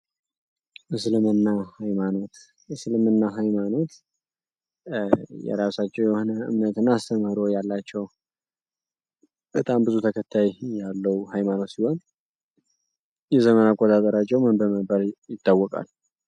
እስልምና ሀይማኖት እስልምና ሀይማኖት የራሳቸው የሆነ እምነት እና አስተምህሮ ያላቸው በጣም ብዙ ተከታይ ያለው ሀይማኖት ሲሆን የዘመን አቆጣጥርሯቸው ምን በመባል ይታወቃል?